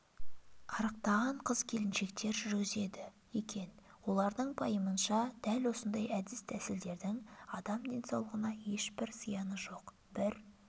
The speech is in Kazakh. арықтаған қыз-келіншектер жүргізеді екен олардың пайымынша дәл осындай әдіс-тәсілдердің адам денсаулығына ешбір зияны жоқ бір